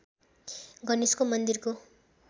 गणेशको मन्दिरको